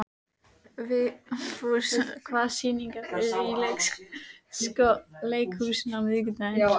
Vigfús, hvaða sýningar eru í leikhúsinu á miðvikudaginn?